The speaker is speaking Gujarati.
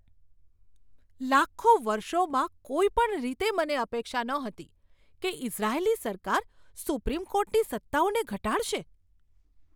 લાખો વર્ષોમાં કોઈ પણ રીતે મને અપેક્ષા નહોતી કે ઇઝરાયેલી સરકાર સુપ્રીમ કોર્ટની સત્તાઓને ઘટાડશે.